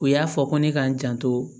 U y'a fɔ ko ne ka n janto